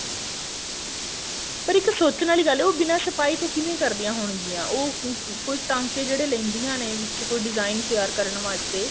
ਪਰ ਇੱਕ ਸੋਚਣ ਵਾਲੀ ਗੱਲ ਹੈ ਉਹ ਬਿੰਨਾ ਛਪਾਈ ਤੋਂ ਕਿਵੇਂ ਕਰਦਿਆਂ ਹੋਣਗੀਆਂ ਉਹ ਕੋਈ ਟਾਂਕੇ ਜਿਹੜੇ ਲੇਂਦੀਆਂ ਨੇ ਵਿੱਚ ਕੋਈ design ਤਿਆਰ ਕਰਨ ਵਾਸਤੇ